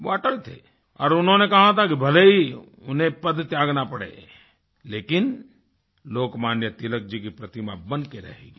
वह अटल थे और उन्होंने कहा था कि भले ही उन्हें पद त्यागना पड़े लेकिन लोकमान्य तिलक जी की प्रतिमा बन कर रहेगी